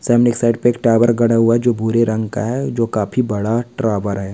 सामने की साइड पे एक टावर गड़ा हुआ है जो भूरे रंग का है जो काफी बड़ा टावर है।